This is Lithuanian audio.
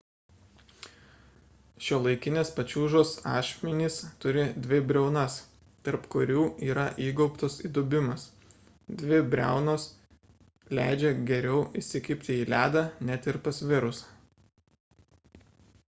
šiuolaikinės pačiūžos ašmenys turi dvi briaunas tarp kurių yra įgaubtas įdubimas dvi briaunos leidžia geriau įsikibti į ledą net ir pasvirus